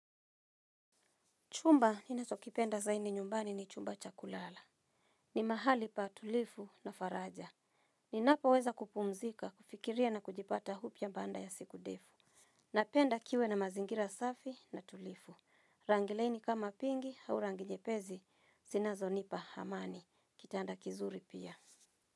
Chumba, ninacho kipenda zaidi nyumbani ni chumba chakulala. Ni mahali pa tulifu na faraja. Ninapoweza kupumzika, kufikiria na kujipata upya baanda ya siku ndefu. Napenda kiwe na mazingira safi na tulifu. Rangi laini kama pingi au rangi nyepesi, sinazo nipa hamani. Kitanda kizuri pia.